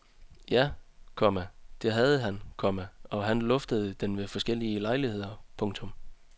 Ja, komma det havde han, komma og han luftede den ved forskellige lejligheder. punktum